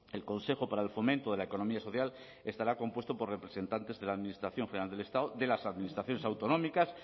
el consejo para el fomento de la economía social estará compuesto por representantes de la administración general del estado de las administraciones autonómicas